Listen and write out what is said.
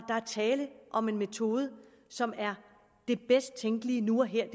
tale om en metode som er det bedst tænkelige nu og her og